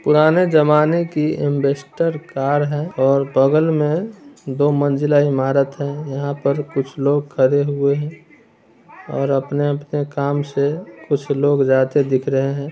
पुराने जमाने की अम्बैसडर कार है और बगल में दो मंजिला इमारत है यहाँ पर कुछ लोग खड़े हुए हैं और अपने-अपने काम से कुछ लोग जाते दिख रहे है।